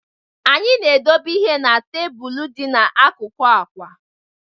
Anyị na-edobe ihe n'tebụl dị n'akụkụ akwa.